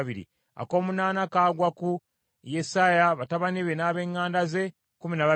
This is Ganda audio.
ak’omunaana kagwa ku Yesaya, batabani be n’ab’eŋŋanda ze, kkumi na babiri;